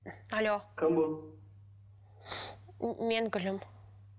алло кім бұл мен гүлім